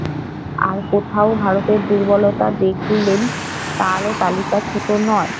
আর কোথাও ভারতের দুর্বলতা দেখলেন তারও তালিকা ছোট নয়।